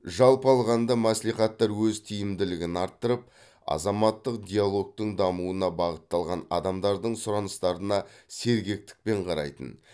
жалпы алғанда мәслихаттар өз тиімділігін арттырып азаматтық диалогтың дамуына бағытталған адамдардың сұраныстарына сергектікпен қарайтын